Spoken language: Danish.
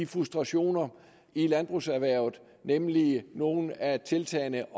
frustrationer i landbrugserhvervet nemlig nogle af tiltagene